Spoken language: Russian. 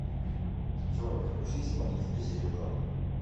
джой включи исполнителя серебро